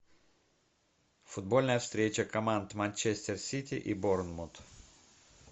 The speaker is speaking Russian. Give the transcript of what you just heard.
футбольная встреча команд манчестер сити и борнмут